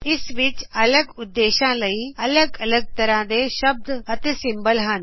ਇਸ ਵਿਚ ਅਲਗ ਉਦੇਸ਼ਾ ਲਈ ਅਲਗ ਅਲਗ ਤਰ੍ਹਾ ਦੇ ਸ਼ਬਦ ਅਤੇ ਸਿੰਬੋਲ ਹਨ